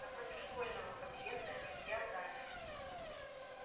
напротив школьного подъезда илья замер